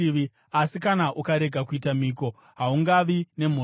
Asi kana ukarega kuita mhiko, haungavi nemhosva.